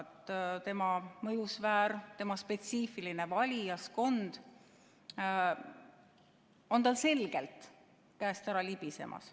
No tema mõjusfäär, tema spetsiifiline valijaskond on tal selgelt käest ära libisemas.